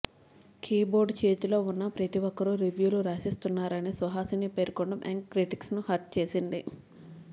key board చేతిలో ఉన్న ప్రతి ఒక్కరూ రివ్యూలు రాసేస్తున్నారని సుహాసిని పేర్కొనడం యంగ్ క్రిటిక్స్ని హర్ట్ చేసింది